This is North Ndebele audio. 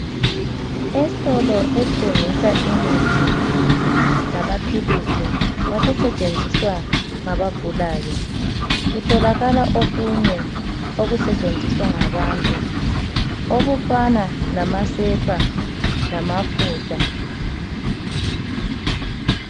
Esitolo esthengisa imithi lamaphilisi okusetshenziswa ngabagulayo. Kutholakala okunye okusetshenziswa ngabantu okufana lamasepa lamafutha.